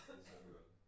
Og så kører den